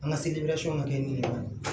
An ka ma kɛ ni kɔni ye